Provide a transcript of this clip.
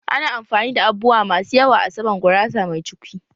Ana amfani da abubuwa masu yawa a saman gurasa mai cukwi